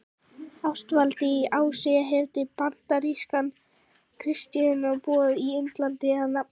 Ástvaldi í Ási eftir bandarískan kristniboða á Indlandi að nafni